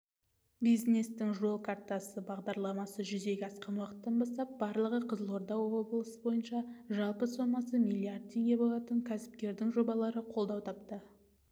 бизнестің жол картасы бағдарламасы жүзеге асқан уақыттан бастап барлығы қызылорда облысы бойынша жалпы сомасы миллиард теңге болатын кәсіпкердің жобалары қолдау тапты